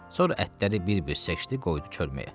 Sonra ətləri bir-bir çəkdi, qoydu çölməyə.